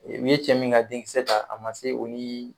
E u ye cɛ min ka denkisɛ ta a ma se o nin